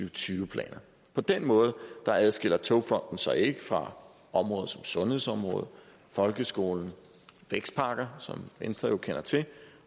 og tyve planer på den måde adskiller togfonden dk sig ikke fra områder som sundhedsområdet folkeskolen vækstpakker som venstre jo kender til